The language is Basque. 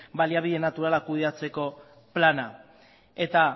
baliabide naturala kudeatzeko plana eta